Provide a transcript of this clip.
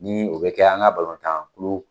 Ni o be kɛ an ka tan kulu